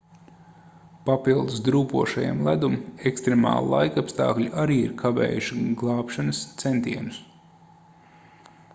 papildus drūpošajam ledum ekstremāli laikapstākļi arī ir kavējuši glābšanas centienus